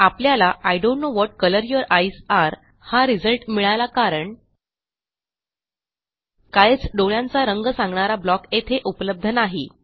आपल्याला I don't know what colour your eyes areहा result मिळाला कारण काइल्स डोळ्यांचा रंग सांगणारा ब्लॉक येथे उपलब्ध नाही